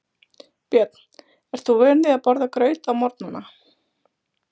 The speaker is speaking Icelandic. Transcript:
Björn: Ert þú vön því að borða graut á morgnanna?